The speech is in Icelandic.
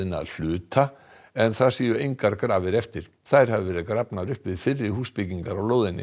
að hluta en þar séu engar grafir eftir þær hafi verið grafnar upp við fyrri húsbyggingar á lóðinni